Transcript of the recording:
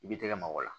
I b'i tɛgɛ mabɔ la